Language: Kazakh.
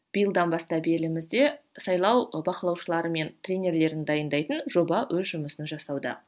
биылдан бастап елімізде сайлау бақылаушылары мен тренерлерін дайындайтын жоба өз жұмысын жасауда